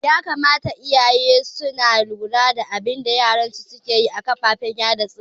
Ya kamata iyaye suna luwa da abinda yaran su suke yi a kafafen sada zumunta